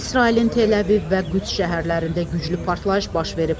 İsrailin Təl-əviv və Qüds şəhərlərində güclü partlayış baş verib.